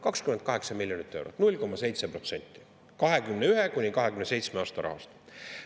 28 miljonit eurot, 0,7% perioodi 2021–2027 rahast.